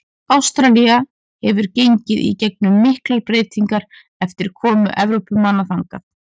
Ástralía hefur gengið í gegnum miklar breytingar eftir komu Evrópumanna þangað.